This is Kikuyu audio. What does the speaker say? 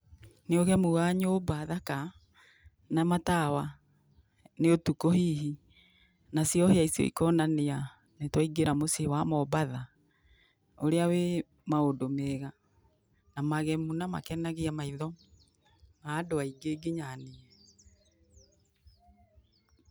Nĩ ũgemu wa nyũmba thaka na matawa, nĩ ũtukũ hihi, nacio hĩa icio ikonania nĩ twaingĩra muciĩ wa mombatha ũrĩa wĩ maũndũ mega na magemu na makenagia maitho ma andũ aingĩ nginya niĩ.